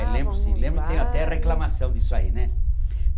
lembro sim, lembro, tenho até reclamação disso aí, né?